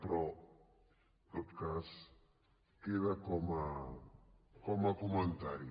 però en tot cas queda com a comentari